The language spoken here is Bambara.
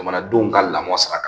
Jamanadenw ka lamɔ sira kan